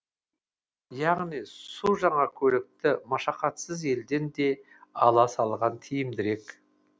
яғни су жаңа көлікті машақатсыз елден де ала салған тиімдірек